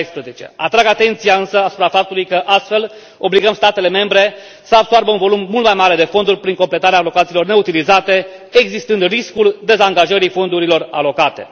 2014. Atrag atenția însă asupra faptului că, astfel, obligăm statele membre să absoarbă un volum mult mai mare de fonduri prin completarea alocațiilor neutilizate, existând riscul dezangajării fondurilor alocate.